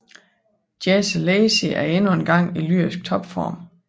Jesse Lacey er endnu engang i lyrisk topform